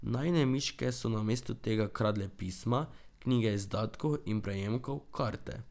Najine miške so namesto tega kradle pisma, knjige izdatkov in prejemkov, karte ...